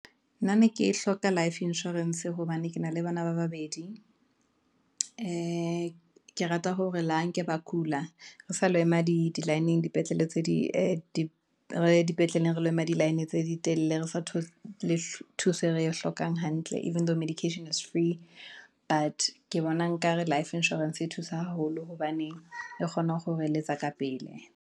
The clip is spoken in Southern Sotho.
Nna ne ke hloka life insurance hobane ke na le bana ba babedi, ee, ke rata hore le ha nke ba kula, re sa lo ema di line-ng dipetlele re lo ema di-line tse ditelele, re sa thole thuso eo re e hlokang hantle, even though medications is free. But ke bona nkare life insurance e thusa haholo, hobane re kgona ho re eletsa ka pele.